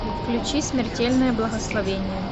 включи смертельное благословение